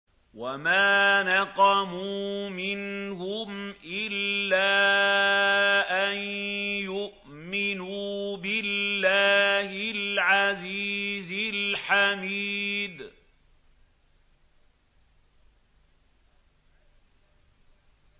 وَمَا نَقَمُوا مِنْهُمْ إِلَّا أَن يُؤْمِنُوا بِاللَّهِ الْعَزِيزِ الْحَمِيدِ